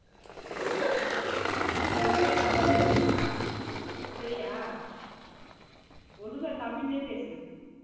நீ ஒழுங்கா தமிழ்லயே பேசுமா சரியா ஒழுங்கா தமிழ்லயே பேசு